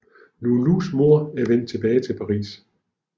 Loulous mor vender tilbage til Paris